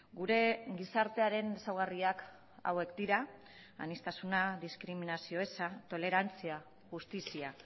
gure gizartearen ezaugarriak hauek dira aniztasuna diskriminazio eza tolerantzia justizia